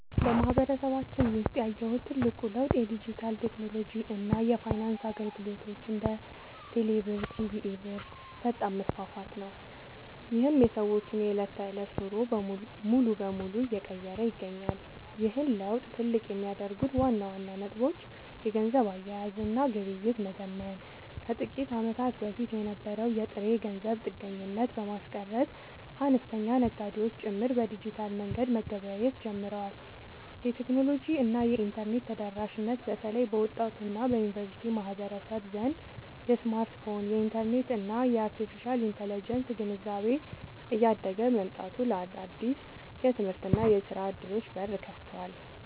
በማህበረሰባችን ውስጥ ያየሁት ትልቁ ለውጥ የዲጂታል ቴክኖሎጂ እና የፋይናንስ አገልግሎቶች (እንደ ቴሌብር እና ሲቢኢ ብር) ፈጣን መስፋፋት ነው፤ ይህም የሰዎችን የዕለት ተዕለት ኑሮ ሙሉ በሙሉ እየቀየረ ይገኛል። ይህን ለውጥ ትልቅ የሚያደርጉት ዋና ዋና ነጥቦች - የገንዘብ አያያዝ እና ግብይት መዘመን፦ ከጥቂት ዓመታት በፊት የነበረውን የጥሬ ገንዘብ ጥገኝነት በማስቀረት፣ አነስተኛ ነጋዴዎች ጭምር በዲጂታል መንገድ መገበያየት ጀምረዋል። የቴክኖሎጂ እና የኢንተርኔት ተደራሽነት፦ በተለይ በወጣቱ እና በዩኒቨርሲቲ ማህበረሰብ ዘንድ የስማርትፎን፣ የኢንተርኔት እና የአርቴፊሻል ኢንተለጀንስ (AI) ግንዛቤ እያደገ መምጣቱ ለአዳዲስ የትምህርትና የሥራ ዕድሎች በር ከፍቷል።